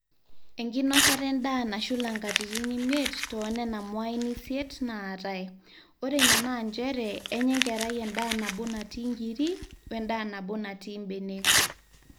enkinosata endaa nashula katitin imiet toonena mwain isiet naatai, ore ina naa njere enya enkerai endaa nabo natii inkiri wendaa nabo natii mbenek